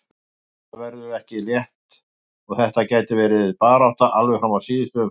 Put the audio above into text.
Þetta verður ekki létt og þetta gæti verið barátta alveg fram í síðustu umferð.